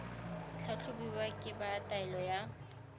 tlhatlhobiwa ke ba taolo ya